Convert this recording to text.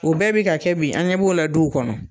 O bɛɛ bi ka kɛ bi. An ɲɛ b'o la duw kɔnɔ.